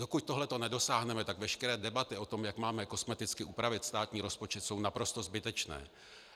Dokud toho nedosáhneme, tak veškeré debaty o tom, jak máme kosmeticky upravit státní rozpočet, jsou naprosto zbytečné.